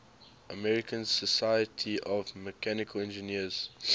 american society of mechanical engineers